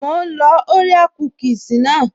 Mò ń lọ orea kúkìsì naa